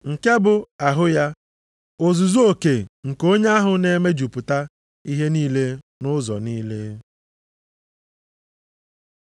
Nke bụ ahụ ya, ozuzu oke nke onye ahụ na-emejupụta ihe niile nʼụzọ niile.